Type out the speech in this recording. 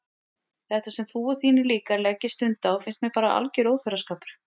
Þetta sem þú og þínir líkar leggið stund á finnst mér bara alger óþverraskapur.